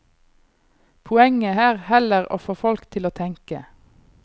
Poenget er heller å få folk til å tenke.